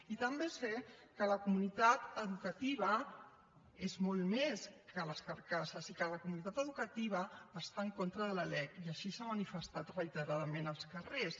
i també sé que la comunitat educativa és molt més que les carcasses i que la comunitat educativa està en contra de la lec i així s’ha manifestat reiteradament als carrers